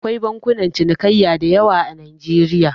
Akwai bankunan cinikayya da yawa a Najeriya.